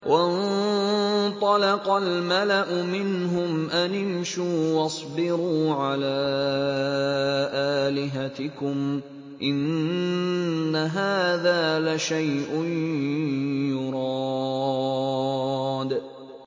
وَانطَلَقَ الْمَلَأُ مِنْهُمْ أَنِ امْشُوا وَاصْبِرُوا عَلَىٰ آلِهَتِكُمْ ۖ إِنَّ هَٰذَا لَشَيْءٌ يُرَادُ